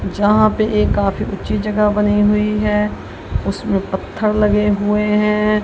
जहां पे ये काफी ऊंची जगह बनी हुई है उसमें पत्थर लगे हुए हैं।